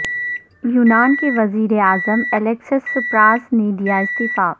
یونان کے وزیر اعظم الیکسس سپراس نے دیا استعفی